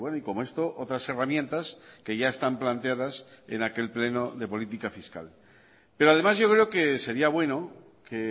y como esto otras herramientas que ya están planteadas en aquel pleno de política fiscal pero además yo creo que sería bueno que